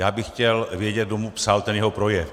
Já bych chtěl vědět, kdo mu psal ten jeho projev.